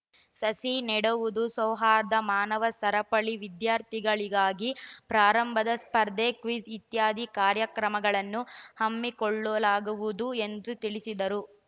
ಸಸಿ ನೆಡುವುದು ಸೌಹಾರ್ದ ಮಾನವ ಸರಪಳಿ ವಿದ್ಯಾರ್ಥಿಗಳಿಗಾಗಿ ಪ್ರಾರಂಭದ ಸ್ಪರ್ಧೆ ಕ್ವಿಜ್‌ ಇತ್ಯಾದಿ ಕಾರ್ಯಕ್ರಮಗಳನ್ನು ಹಮ್ಮಿಕೊಳ್ಳಲಾಗುವುದು ಎಂದು ತಿಳಿಸಿದರು